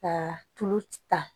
Ka tulu ci ta